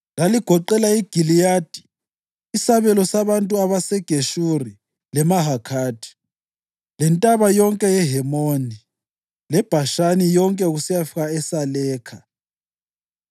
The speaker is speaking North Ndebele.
Laligoqela iGiliyadi, isabelo sabantu baseGeshuri leMahakhathi, leNtaba yonke yeHemoni leBhashani yonke kusiyafika eSalekha,